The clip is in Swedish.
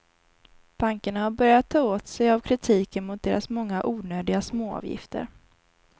Bankerna har börjat ta åt sig av kritiken mot deras många onödiga småavgifter.